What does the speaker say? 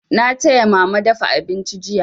Na taya mama dafa abinci jiya.